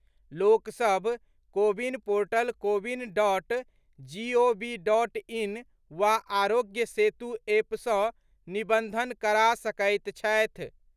लोकसभ CoWIN portal CoWIN dot G O V dot in वा Aarogya Setu app सँ निबन्धन करा सकैत छथि।